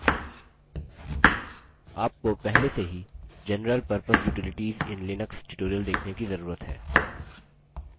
आपको पहले से ही general purpose utilities in linux tutorial देखने की जरूरत है